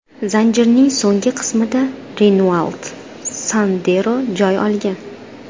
Zanjirning so‘nggi qismida Renault Sandero joy olgan.